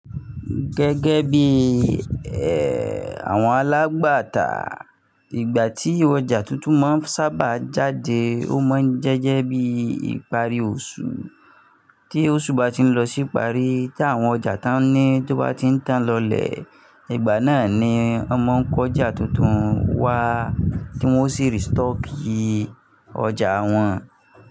Gẹ́gẹ́ bí i ẹ, àwọn alágbàtà ìgbà tí ọjà tuntun máa ń sábà jáde ó máa ń jẹ́jẹ́ bí ìparí oṣù, tí oṣù bá ti ń lọ sí ìparí tí àwọn ọjà tán ní tó bá ti ń tán lọlẹ̀, ìgbà náà ni a máa ń kọ́ ọjà tuntun wá tí wọ́n ó sì restock ì ọjà wọn.